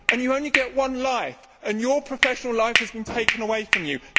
You only get one life and your professional life has been taken away from you.